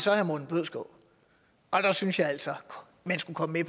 herre morten bødskov og der synes jeg altså at man skulle komme